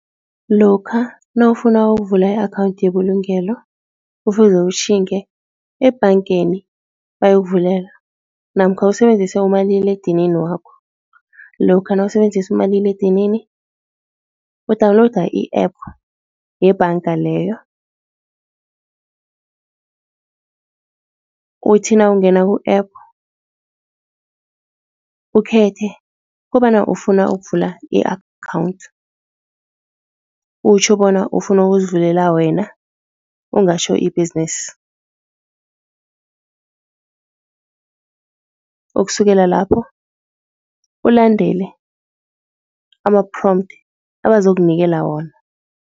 Lokha nawufuna ukuvula i-akhawundi yebulungelo, kufuze utjhinge ebhangeni bayokuvulela namkha usebenzise umaliledinini wakho. Lokha nawusebenzisa umaliledinini, udawunilowuda i-app yebhanga leyo. Uthi nawungena ku-app ukhethe kobana ufuna ukuvula i-account, utjho bona ufuna ukuzivulela wena, ungatjho i-business. Ukusukela lapho ulandele ama-prompt abazokunikela wona.